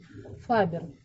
фабер